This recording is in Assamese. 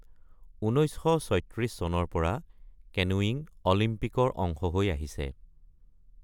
১৯৩৬ চনৰ পৰা কেনুয়িং অলিম্পিকৰ অংশ হৈ আহিছে।